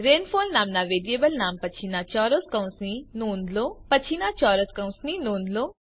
rainfall નામના variable નામ પછીના ચોરસ કૌંસની નોંધ લો